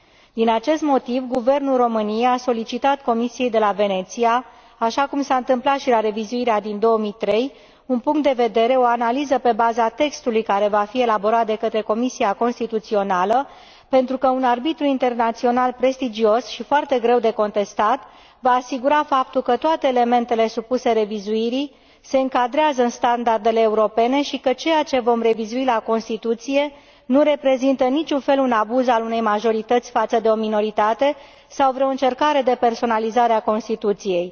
Din acest motiv, Guvernul României a solicitat Comisiei de la Veneția, așa cum s a întâmplat și la revizuirea din 2003, un punct de vedere, o analiză pe baza textului care va fi elaborat de către Comisia constituțională, pentru că un arbitru internațional prestigios și foarte greu de contestat se va asigura că toate elementele supuse revizuirii se încadrează în standardele europene și că ceea ce vom revizui la Constituție nu reprezintă în niciun fel un abuz al unei majorități față de o minoritate sau vreo încercare de personalizare a Constituției.